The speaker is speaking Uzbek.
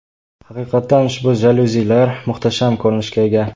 Haqiqatdan ushbu jalyuzilar muhtasham ko‘rinishga ega.